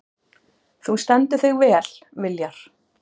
Þú stendur þig vel, Viljar!